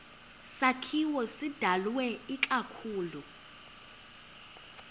sakhiwo sidalwe ikakhulu